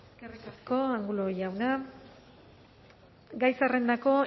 eskerrik asko angulo jauna gai zerrendako